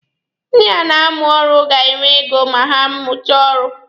Ndi na-amụ ọrụ ga-enwe ego ma ha mụchaa ọrụ.